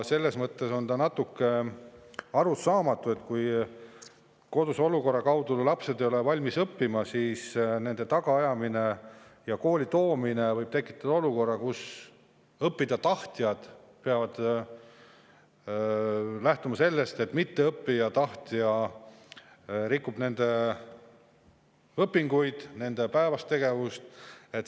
See on natuke arusaamatu, sest kui koduse olukorra tõttu ei ole lapsed valmis õppima, siis nende tagaajamine ja kooli toomine võib tekitada olukorra, kus õppida tahtjad peavad lähtuma sellest, et õppida mittetahtja rikub nende õpinguid, nende päevast tegevust.